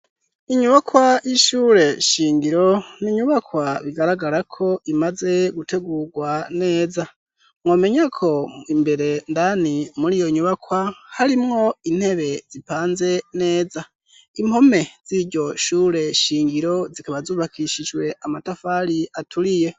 inyubakwa y'ishure shingiro ninyubakwa bigaragara ko imaze gutegurwa neza nwomenya ko imbere ndani muri iyo nyubakwa harimwo intebe zipanze neza impome z'iryo shure shingiro zikaba zubakishijwe amatafari aturiye